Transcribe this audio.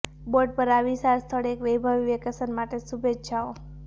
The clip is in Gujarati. બોર્ડ પર આ વિશાળ સ્થળ એક વૈભવી વેકેશન માટે શુભેચ્છાઓ